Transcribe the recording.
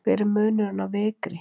hver er munurinn á vikri